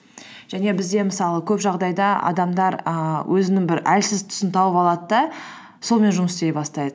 және бізде мысалы көп жағдайда адамдар ііі өзінің бір әлсіз тұсын тауып алады да сонымен жұмыс істей бастайды